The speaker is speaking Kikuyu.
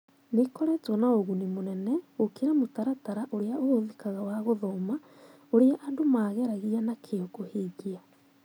Nĩ ĩkoretwo na ũguni mũnene gũkĩra mũtaratara ũrĩa ũhũthĩkaga wa gũthoma, ũrĩa andũ maageragia na kĩyo kũhingia.